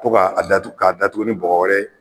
Ko k'a k'a datugu ni bɔgɔ wɛrɛ ye